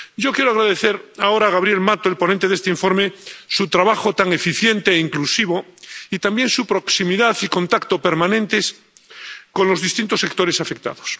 Yo quiero agradecer ahora a Gabriel Mato, el ponente de este informe, su trabajo tan eficiente e inclusivo, y también su proximidad y contacto permanentes con los distintos sectores afectados.